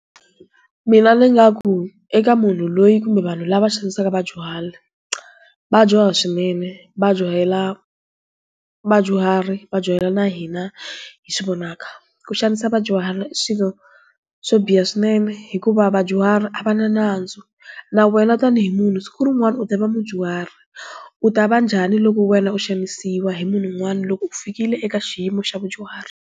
Mina ndzi nga ku, eka munhu loyi kumbe vanhu lava xavisaka vadyuhari. Va dyoha swinene, va dyohela vadyuhari va dyohela na hina hi swi vonaka. Ku xanisa vadyuhari i swilo, swo biha swinene, hikuva vadyuhari a va na nandzu. Na wena tanihi munhu siku rin'wani u ta va mudyuhari. U ta va njhani loko wena u xanisiwa hi munhu un'wana loko u fikile eka xiyimo xa vadyuhari?